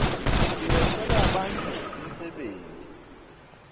tiletsela bantfu umsebenti